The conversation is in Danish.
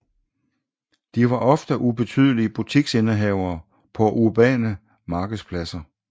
De var ofte ubetydelige butiksindehavere på urbane markedspladser